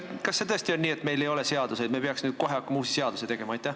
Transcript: Kas see tõesti on nii, et meil ei ole seadusi ja me peaks nüüd kohe hakkama uusi seadusi tegema?